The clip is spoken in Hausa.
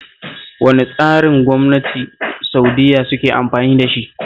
Wane tsarin gwamnati Sa'udiyya suke amfani da shi?